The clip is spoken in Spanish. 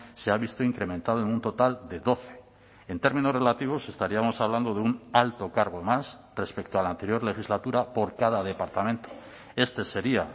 se ha visto incrementado en un total de doce en términos relativos estaríamos hablando de un alto cargo más respecto a la anterior legislatura por cada departamento este sería